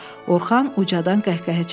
Orxan ucadan qəhqəhə çəkdi.